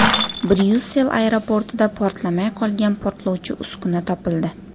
Bryussel aeroportida portlamay qolgan portlovchi uskuna topildi.